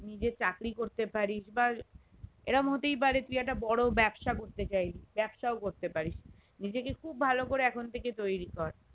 নিজে চাকরি করতে পারিস বা এরম হতেই পারে তুই একটা বড় ব্যবসা করতে চাইলি ব্যবসাও করতে পারিস নিজেকে খুব ভালো করে এখন থেকে তৈরী কর